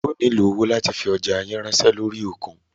Ẹ ó nílo owó láti fi ọjá yín ránṣẹ́ lórí òkun.